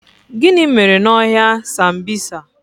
Gịnị mere n' ọhịa sambisa?